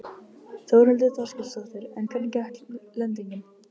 Þórhildur Þorkelsdóttir: En hvernig gekk lendingin?